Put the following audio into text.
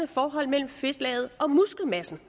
forhold mellem fedtlaget og muskelmassen